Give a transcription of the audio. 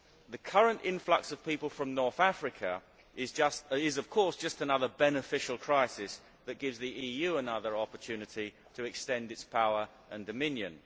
The current influx of people from North Africa is, of course, just another beneficial crisis that gives the EU another opportunity to extend its power and dominion.